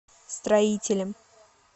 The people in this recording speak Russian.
строителем